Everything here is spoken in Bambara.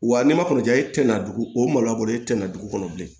Wa n'i ma kɔn ja e tɛna dugu o malo a bolo e tɛ na dugu kɔnɔ bilen